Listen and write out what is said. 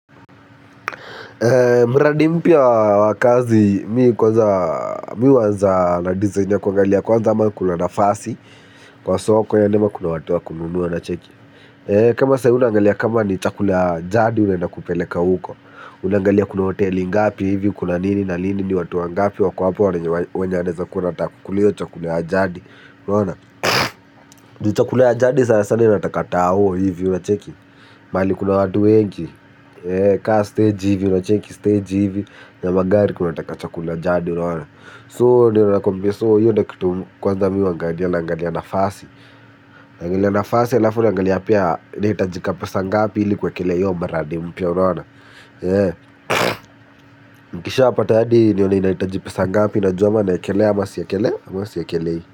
Mradi mpya wa kazi mimi kwanza mimi huanza na design ya kuangalia kwanza ama kuna nafasi kwa soko yaani ama kuna watu wa kununua unacheki. Kama saa hiyo unaangalia kama ni chakula ya jadi unaenda akupeleka huko unaangalia kuna hoteli ngapi hivi kuna nini na lini ni watu wangapi wako hapo wanaeza kuwa wanataka kukula hiyo chakula ya jadi unaona juu chakula ya jadi sana sana inatakata tao hivi unacheki mahali kuna watu wengi. Ka stage hivi, unacheki stage hivi ya magari wanakuwa wanataka chakula ya jadi, unaona So, ndo nakuambia So, hiyo ndiyo kitu kwanza mimu huangalia naangalia nafasi naangali nafasi, alafu, naangali pia inahitajika pesa ngapi ili kuwekelea hiyo mradi mpya, unaona nikishapata hadi, nione inahitaji pesa ngapi. Najua ama naekelea, ama siekelei. Ama siekelei.